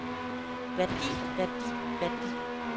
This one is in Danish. værdi værdi værdi